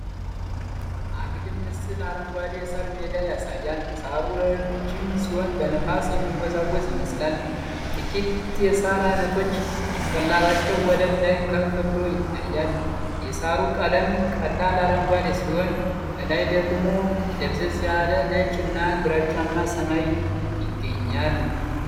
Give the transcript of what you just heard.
አግድም ምስል አረንጓዴ የሳር ሜዳ ያሳያል፤ ሳሩ ረጅም ሲሆን በነፋስ የሚወዛወዝ ይመስላል። ጥቂት የሳር አይነቶች ጭንቅላታቸው ወለል ላይ ከፍ ብሎ ይታያል። የሳሩ ቀለም ቀላል አረንጓዴ ሲሆን ከላይ ደግሞ ደብዘዝ ያለ ነጭ እና ግራጫማ ሰማይ ይገኛል።